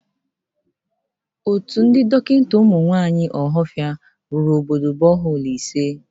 Otu ndị dọkịnta ụmụ nwaanyị ọhafịa rụrụ obodo bọholu ise.